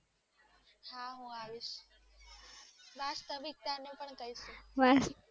હા હું આવીશ વાસ્તવિકતા ને પણ કહીશ